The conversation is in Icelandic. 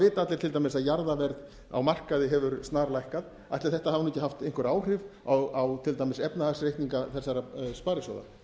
vita allir til dæmis að jarðaverð á markaði hefur snarlækkað ætli þetta hafi nú ekki haft einhver áhrif á til dæmis efnahagsreikninga þessara sparisjóða